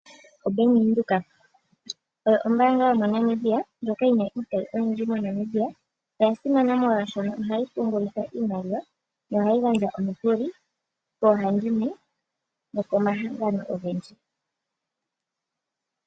OBank Windhoek oyo ombaanga yomoNamibia ndjoka yi na iitayi oyindji moNamibia. Oya simana molwashoka ohayi pungula iimaliwa nohayi gandja omikuli koohandimwe nokomahangano ogendji.